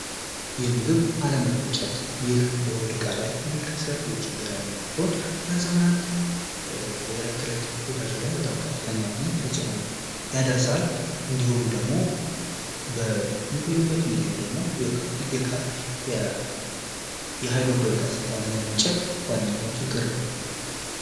የምግብ አለመፈጨት ይህ በሆድ እቃ ላይ የሚከሰት ችግር ሲሆን የለት ተለት ህይወታቸው ላይ ከፍተኛ የሆነ ተፅዕኖ ያደርሳል። እንዲሁም ደግሞ በሚባሉበት ጊዜ የሀይድሮ ክሎሪን አሲድ አለመመረት ዋነኛው ችግር ነው።